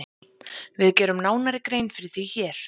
Við gerum nánari grein fyrir því hér.